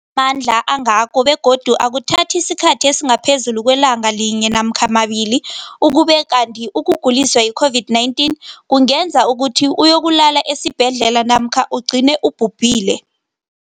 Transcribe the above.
akuna mandla angako begodu akuthathi isikhathi esingaphezulu kwelanga linye namkha mabili, ukube kanti ukuguliswa yi-COVID-19 kungenza ukuthi uyokulala esibhedlela namkha ugcine ubhubhile.